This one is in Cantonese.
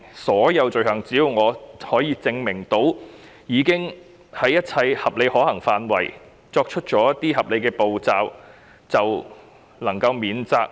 是否只要我可以證明，我已經在一切合理可行範圍內採取合理步驟，便應能免責呢？